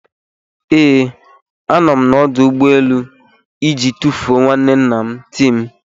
Ee, a nọ m n'ọdụ ụgbọ elu iji tufuo nwanne nna Tim